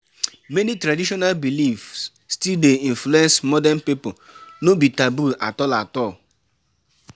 Many traditional beliefs still dey influence modern pipo, no be taboo at all. at all.